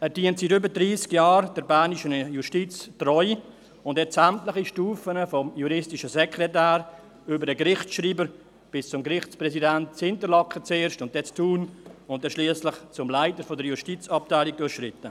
Er dient der bernischen Justiz seit über dreissig Jahren treu und hat sämtliche Stufen vom juristischen Sekretär über den Gerichtsschreiber bis zum Gerichtspräsidenten – zuerst in Interlaken und dann in Thun – und schliesslich zum Leiter der Justizabteilung durchschritten.